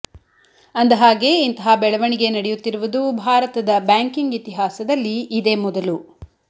ಅಂದ ಹಾಗೆ ಇಂತಹ ಬೆಳವಣಿಗೆ ನಡೆಯುತ್ತಿರುವುದು ಭಾರತದ ಬ್ಯಾಂಕಿಂಗ್ ಇತಿಹಾಸದಲ್ಲಿ ಇದೇ ಮೊದಲು